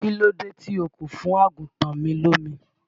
Kílódé tí o kò fún àgùntàn mi lómi?